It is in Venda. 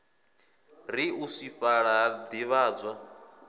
ri u swifhala ha divhadzwa